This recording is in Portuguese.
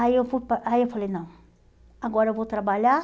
Aí eu vou para aí eu falei, não, agora eu vou trabalhar